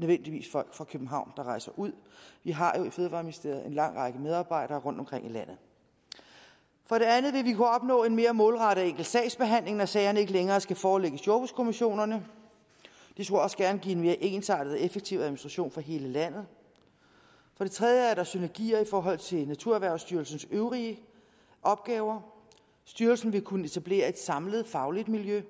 nødvendigvis er folk fra københavn der rejser ud vi har jo i fødevareministeriet en lang række medarbejdere rundtomkring i landet for det andet vil vi kunne opnå en mere målrettet og enkel sagsbehandling når sagerne ikke længere skal forelægges jordbrugskommissionerne det skulle også gerne give en mere ensartet og effektiv administration for hele landet for det tredje er der synergier i forhold til naturerhvervsstyrelsens øvrige opgaver styrelsen vil kunne etablere et samlet fagligt miljø